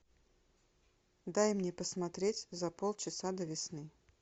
дай мне посмотреть за пол часа до весны